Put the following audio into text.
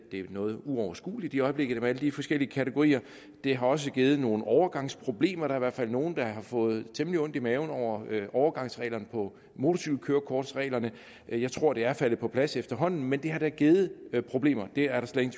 noget uoverskueligt i øjeblikket med alle de forskellige kategorier det har også givet nogle overgangsproblemer der er hvert fald nogle der har fået temmelig ondt i maven over overgangsreglerne for motorcykelkørekort jeg tror det er faldet på plads efterhånden men det har da givet problemer det er der slet